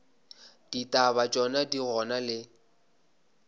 ditaba tšona di gona le